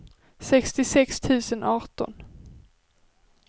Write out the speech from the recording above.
sextiosex tusen arton